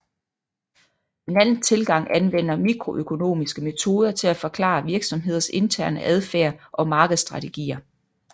En anden tilgang anvender mikroøkonomiske metoder til at forklare virksomheders interne adfærd og markedsstrategier